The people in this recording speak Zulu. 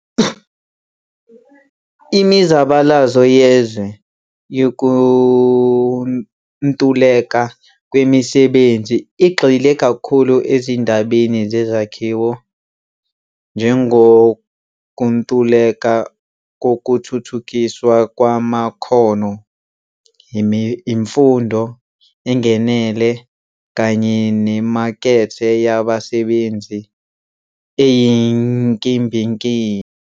Imizabalazo yezwe yokuntuleka kwemisebenzi igxile kakhulu ezindabeni zesakhiwo njemgokuntuleka kokuthuthukiswa kwamakhono, imfundo enganele, kanye nemakethe yabasebenzi eyinkimbinkimbi.